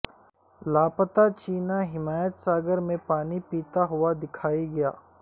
لاپتہ چینا حمایت ساگر میں پانی پیتا ہوا دکھائی دیا